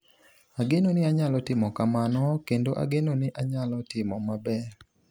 Ageno ni anyalo timo kamano, kendo ageno ni anyalo timo maber."